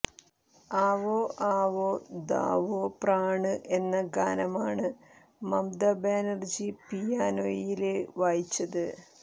ആവോ ആവോ ദാവോ പ്രാണ് എന്ന ഗാനമാണ് മമത ബാനര്ജി പിയാനോയില് വായിച്ചത്